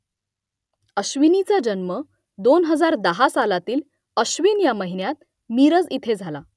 अश्विनीचा जन्म दोन हजार दहा सालातील आश्विन ह्या महिन्यात मिरज इथे झाला